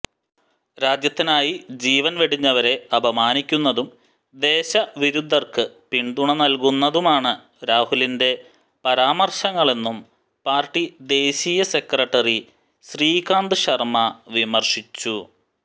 രാജ്യത്തിനായി ജീവന് വെടിഞ്ഞവരെ അപമാനിക്കുന്നതും ദേശവിരുദ്ധര്ക്ക് പിന്തുണ നല്കുന്നതുമാണ് രാഹുലിന്റെ പരാമര്ശങ്ങളെന്നും പാര്ട്ടി ദേശീയ സെക്രട്ടറി ശ്രീകാന്ത് ശര്മ്മ വിമര്ശിച്ചു